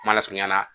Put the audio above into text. Kuma lasurunya na